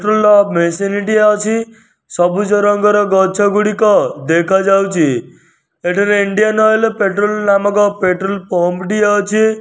Machine ଟିଏ ଅଛି ସବୁଜ ରଙ୍ଗର ଗଛ ଗୁଡ଼ିକ ଦେଖାଯାଉଚି ଏଠାରେ ଇଣ୍ଡିଆ ଅଏଲ ପେଟ୍ରୋଲ ନାମକ ପେଟ୍ରୋଲ ପମ୍ପ ଟିଏ ଅଛି।